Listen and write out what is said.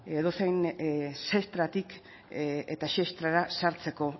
edozein sestratik eta sestrara sartzeko